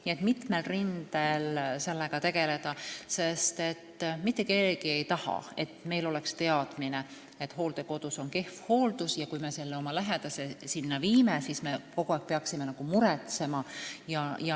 Nii et tahame sellega mitmel rindel tegeleda, sest mitte keegi ei taha sellist teadmist, et hooldekodus on kehv hooldus ja kui me oma lähedase sinna viime, siis me peame kogu aeg muretsema.